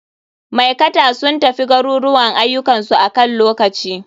Maikata sun tafi garuruwan ayukan su akan lokaci.